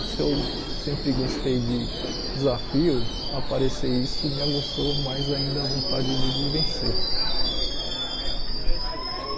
Se eu sempre gostei de desafio, aparecer isso me aguçou mais ainda a vontade de de vencer.